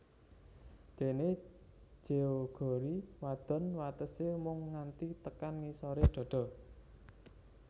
Dene jeogori wadon watese mung nganti tekan ngisore dada